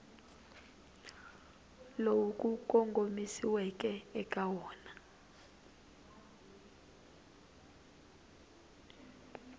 lowu ku kongomisiweke eka wona